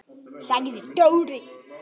sagði Dóri.